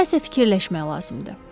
Nəsə fikirləşmək lazımdır.